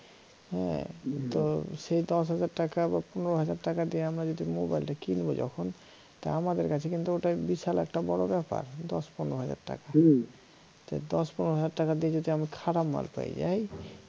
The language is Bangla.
হ্যাঁ তো সেই দশ হাজার টাকা বা পনেরো হাজার টাকা দিয়ে আমরা যদি মোবাইলটা কিনব যখন তা আমাদের কাছে কিন্তু ওটা বিশাল একটা বড় ব্যাপার দশ পনেরো হাজার টাকা তো দশ পনেরো হাজার টাকা দিয়ে যদি আমি খারাপ মাল পেয়ে যাই